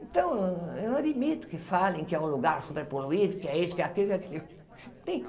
Então, eu não admito que falem que é um lugar super poluído, que é isso, que é aquilo, que é aquilo.